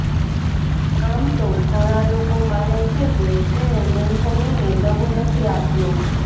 આમ તો ઘણા લોકો માને છે કે તેણે એંથોનીને દગો નથી આપ્યો